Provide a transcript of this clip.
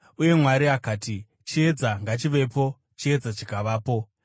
Uye Mwari akati, “Chiedza ngachivepo,” chiedza chikavapo.